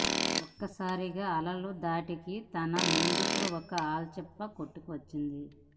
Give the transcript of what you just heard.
ఒక్క సారిగా అలల ధాటికి తన ముందుకు ఒక ఆల్చిప్ప కొట్టుకు వచ్చింది